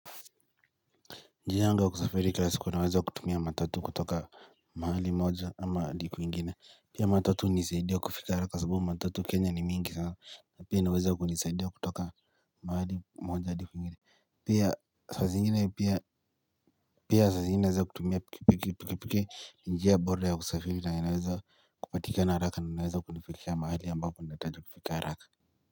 Njia yangu ya kusafiri kil siku naweza kutumia matatu kutoka mahali moja ama hadi kwingine. Pia matatu hunisaidia kufika kwa sababu matatu kenya ni mingi sana. Na pia inaweza kunisaidia kutoka mahali moja hadi kwingine. Pia sasa zingine naeza kutumia piki piki, piki piki ni njia bora ya kusafiri na inaweza kupatika haraka na inaweza kunifikisha mahali ambapo natajwa kufika haraka.